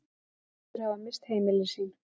Þúsundir hafa misst heimili sín